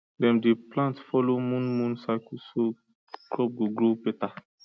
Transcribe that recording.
dem dey plant follow moon moon cycle so crop go grow better